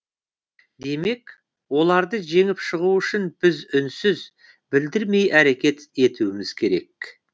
демек оларды жеңіп шығу үшін біз үнсіз білдірмей әрекет етуіміз керек